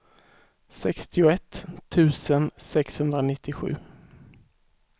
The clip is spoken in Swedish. sextioett tusen sexhundranittiosju